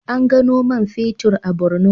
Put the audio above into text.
An gano man fetur a Bornu.